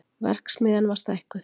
Verksmiðjan var stækkuð